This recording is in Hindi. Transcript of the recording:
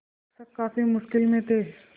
शिक्षक काफ़ी मुश्किल में थे